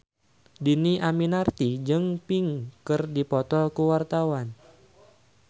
Dhini Aminarti jeung Pink keur dipoto ku wartawan